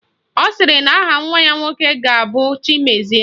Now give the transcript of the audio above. Ọ sịrị na aha nwa ya nwoke ga-abụ Chimezie